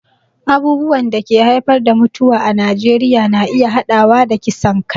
Abubuwan da ke haifar da mutuwa a Najeriya na iya haɗawa da kisan kai